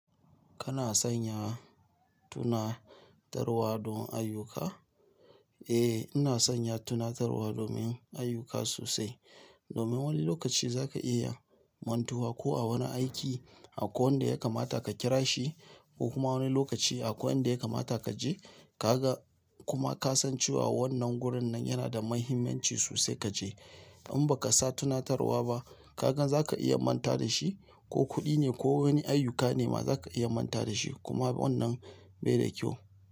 Kana sanya tunatarwa don ayyuka? Eh, ina sanya tunatarwa domin ayyuka sosai. Domin wani lokaci zaka iya mantuwa ko a wani aiki aƙwai wanda ya kamata ka kira shi ko kuma wani lokaci aƙwai inda ya kamata kaje kaga kuma kasan cewa wannan gurin nan yanada mahimmanci sosai kaje. In baka sa tunatarwa ba, kagan zaka iya manta dashi ko kuɗi ne ko wani ayyuka nema zaka iya manta dashi kuma wannan bai da ƙyau.